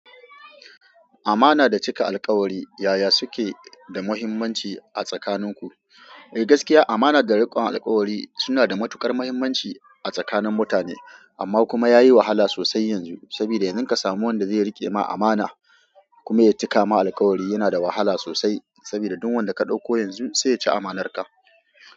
Amana da cika alkawari yaya suke da muhimmanci a tsakanin ku? Eh gaskiya amana da rikon alkawari suna da matuƙar muhimmanci a tsakanin mutane. Amma kuma yayi wahala sosai yanzu. Saboda yanzu ka samu wanda zai rike ma amana kuma ya cika ma alkawari yana da wahala sosai. Saboda duk wanda ka ɗauko yanzu sai ya ci amanarka.